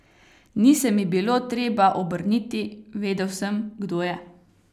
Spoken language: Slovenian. Ni se mi bilo treba obrniti, vedel sem, kdo je.